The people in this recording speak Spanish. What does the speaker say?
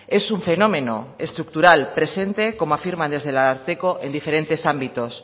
es un fenómeno estructural presente como afirman desde el ararteko en diferentes ámbitos